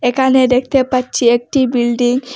একানে দেখতে পাচ্ছি একটি বিল্ডিং ।